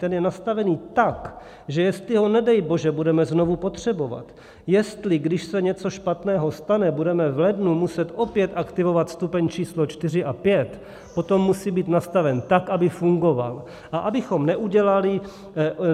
Ten je nastavený tak, že jestli ho nedej bože budeme znovu potřebovat, jestli když se něco špatného stane, budeme v lednu muset opět aktivovat stupeň číslo 4 a 5, potom musí být nastaven tak, aby fungoval.